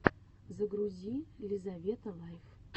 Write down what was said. загрузи лизавета лайф